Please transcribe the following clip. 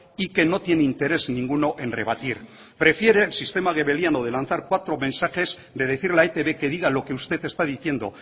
y que no tiene interés alguno en rebatir prefiere el sistema de lanzar cuatro mensajes de decirle a etb que diga lo que usted está diciendo